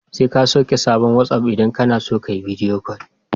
Sai ka sauke sabon wasi'of idan kana so ka yi bidiyo kol.